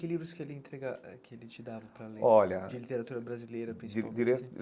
Que livros que ele entrega eh que ele te dava para ler olha, de literatura brasileira principalmente? de de ler